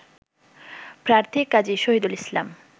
প্রার্থী কাজী শহিদুল ইসলাম